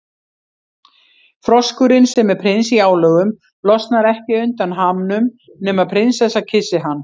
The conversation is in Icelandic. Froskurinn, sem er prins í álögum, losnar ekki undan hamnum nema prinsessa kyssi hann.